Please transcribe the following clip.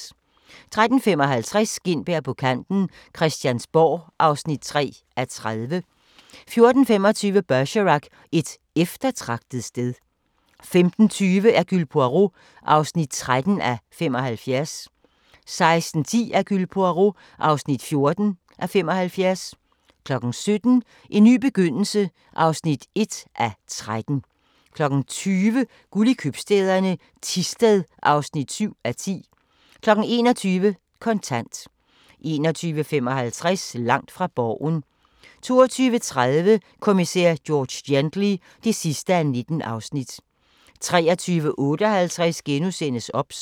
13:55: Gintberg på kanten - Christiansborg (3:30) 14:25: Bergerac: Et eftertragtet sted 15:20: Hercule Poirot (13:75) 16:10: Hercule Poirot (14:75) 17:00: En ny begyndelse (1:13) 20:00: Guld i Købstæderne -Thisted (7:10) 21:00: Kontant 21:55: Langt fra Borgen 22:30: Kommissær George Gently (19:19) 23:58: OBS *